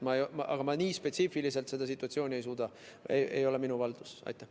Aga ma nii spetsiifiliselt seda situatsiooni ei tunne, see ei ole minu haldusala.